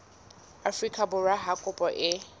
afrika borwa ha kopo e